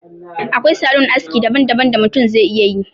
Akwai salon aski daban daban da mutum zai iya yi